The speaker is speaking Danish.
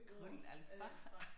Kun alfa